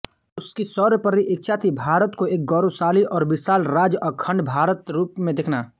उसकी सर्वोपरि इच्छा थी भारत को एक गौरवशाली और विशाल राज्यअखण्ड भारत रूप में देखना